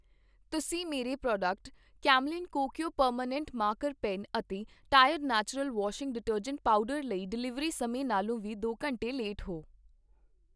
ਤੁਸੀਂ ਮੇਰੇ product Camlin Kokuyo permanent marker pen ਅਤੇ Tide natural washing detergent powder ਲਈ ਡਿਲੀਵਰੀ ਸਮੇਂ ਨਾਲੋਂ ਵੀ ਦੋ ਘੰਟੇ ਲੇਟ ਹੋ।